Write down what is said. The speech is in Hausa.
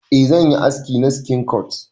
Eh zanyi haski na skin punk.